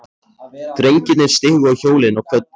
Drengirnir stigu á hjólin og kvöddu.